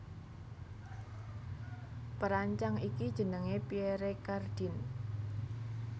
Perancang iki jenengé Pierre Cardin